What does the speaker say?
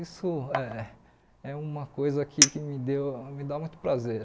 Isso é é uma coisa que que me deu me dá muito prazer.